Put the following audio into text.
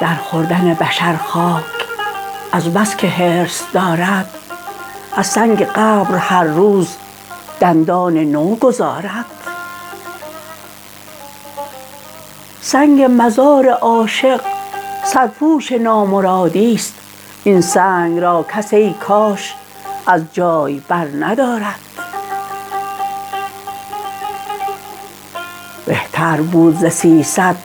در خوردن بشر خاک از بس که حرص دارد از سنگ قبر هر روز دندان نوگذارد سنگ مزار عاشق سرپوش نامرادیست این سنگ را کس ای کاش از جای برندارد بهتر بود ز سیصد